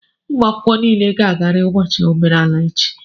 ụmụ akwụkwọ niile ga-agarịrị ụbọchị omenala echi!